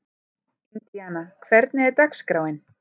Indíana, hvernig er dagskráin?